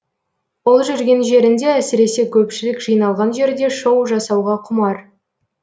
ол жүрген жерінде әсіресе көпшілік жиналған жерде шоу жасауға құмар